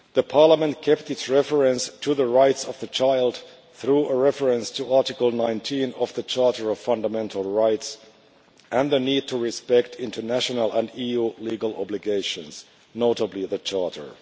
Parliament also kept its reference to the rights of the child through a reference to Article 19 of the Charter of Fundamental Rights and the need to respect international and EU legal obligations, notably the Charter.